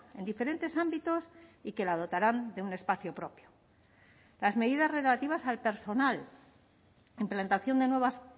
en diferentes ámbitos y que la dotarán de un espacio propio las medidas relativas al personal implantación de nuevas